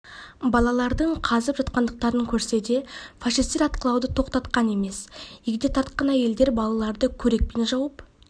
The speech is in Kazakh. балалардың қазып жатқандықтарын көрсе де фашистер атқылауды тоқтатқан емес егде тартқан әйелдер балаларды көрекпен жауып